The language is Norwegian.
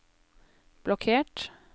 blokkert